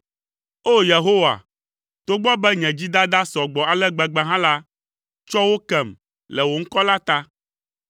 O! Yehowa, togbɔ be nye dzidada sɔ gbɔ ale gbegbe hã la, tsɔ wo kem le wò ŋkɔ la ta.